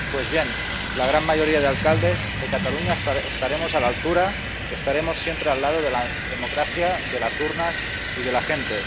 Pues bien, la gran mayoría de alcaldes de Cataluña estaremos a la altura, estaremos siempre al lado de la democracia, de las urnas y de la gente.